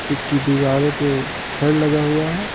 इसकी दीवारे पे छड़ लगा हुआ है।